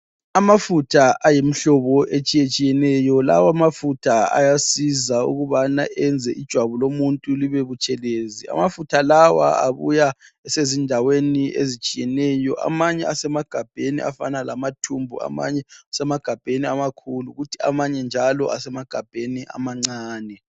Amafutha ayimhlobo etshiyetshiyeneyo. Lawa amafutha ayasiza ukubana enze ijwabu lomuntu libebutshelezi. Amafutha lawa abuya esezindaweni ezitshiyeneyo. Amanye esemagabheni afana lamathumbu amanye asemagabheni amakhulu kuthi amanye njalo asemagabheni amancane.